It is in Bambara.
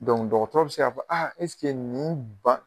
dɔgɔtɔrɔ be se k'a fɔ a nin ba